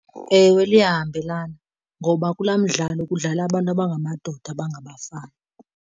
Ewe, liyahambelana ngoba kulaa mdlalo kudlala abantu abangamadoda abangabafana.